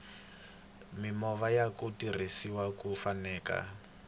mimovha yaku tirhisiwa ya xaveka